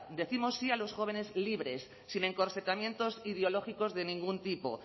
décimos sí a los jóvenes libres sin encorsetamientos ideológicos de ningún tipo